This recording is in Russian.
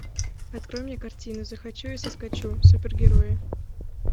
открой мне картину захочу и соскочу супергерои